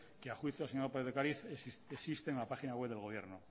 que a juicio señora lópez de ocariz existe en la página web del gobierno